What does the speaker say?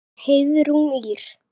Ykkar Heiðrún Ýrr.